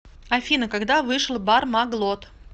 афина когда вышел бармаглот